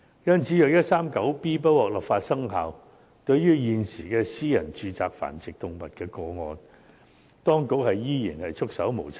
因此，如果第 139B 章不獲准生效，對於現時在私人住宅繁殖動物的個案，當局將依然是束手無策。